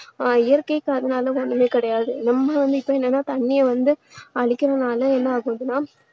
ஆஹ் இயற்கைக்கு அதனால ஒண்ணுமே கிடையாது நம்மளும் இப்போ என்னன்னா தண்ணீரை வந்து அழிக்குறதுனால என்ன ஆகுதுன்னா